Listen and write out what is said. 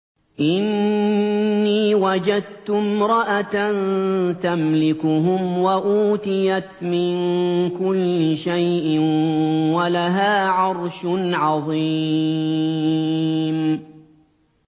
إِنِّي وَجَدتُّ امْرَأَةً تَمْلِكُهُمْ وَأُوتِيَتْ مِن كُلِّ شَيْءٍ وَلَهَا عَرْشٌ عَظِيمٌ